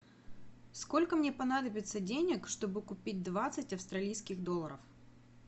сколько мне понадобится денег чтобы купить двадцать австралийских долларов